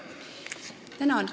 Tänan!